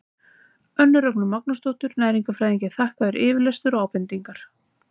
önnu rögnu magnúsardóttur næringarfræðingi er þakkaður yfirlestur og ábendingar